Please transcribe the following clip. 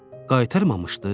Qaytarmamışdı?